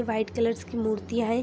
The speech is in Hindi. वाइट कलरस की मुर्तियां है।